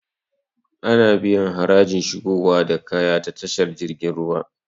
Ana biyan harajin shigowa da kaya ta tashar jirgin ruwa